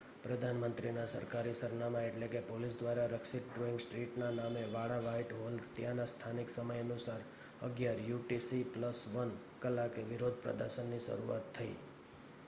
પ્રધાન મંત્રીના સરકારી સરનામા એટલે કે પોલીસ દ્વારા રક્ષિત ડોઈંગ સ્ટ્રીટ ના સામે વાળા વ્હાઇટ હોલમાં ત્યાંના સ્થાનિક સમય અનુસાર 11:00 યુ. ટી. સી.+1 કલાકે વિરોધ પ્રદર્શન ની શરૂઆત થઇ